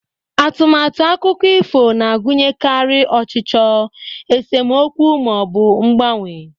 Atụmatụ akụkọ ifo na-agụnyekarị ọchịchọ, esemokwu, ma ọ bụ mgbanwe.